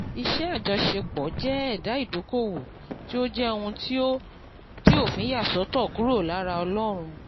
iṣẹ́ àjọṣepọ̀ jẹ́ ẹ̀dà ìdókòwò tí ó jẹ́ òun tí òfin yà sọ́tọ̀ kúrò lára olóun